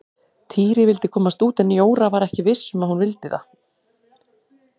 Týri vildi komast út en Jóra var ekki viss um að hún vildi það.